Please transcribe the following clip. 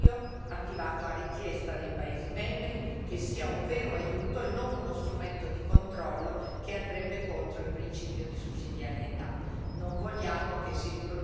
Quindi, un programma volontario, attivato a richiesta dei paesi membri, che sia un vero aiuto e non uno strumento di controllo che andrebbe contro il principio di sussidiarietà.